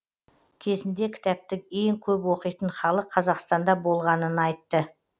кезінде кітапты ең көп оқитын халық қазақстанда болғанын айтып